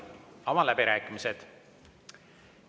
Avan läbirääkimised.